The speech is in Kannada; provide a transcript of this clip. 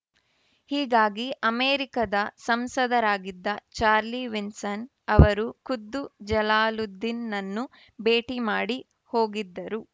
ಹೀಗಾಗಿ ಅಮೆರಿಕದ ಸಂಸದರಾಗಿದ್ದ ಚಾರ್ಲಿ ವಿಲ್ಸನ್‌ ಅವರು ಖುದ್ದು ಜಲಾಲುದ್ದೀನ್‌ನನ್ನು ಭೇಟಿ ಮಾಡಿ ಹೋಗಿದ್ದರು